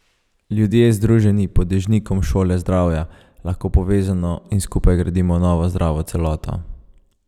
Ljudje, združeni pod dežnikom Šole zdravja, lahko povezano in skupaj gradimo novo zdravo celoto.